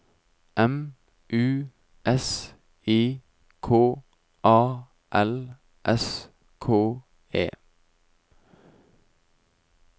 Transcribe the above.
M U S I K A L S K E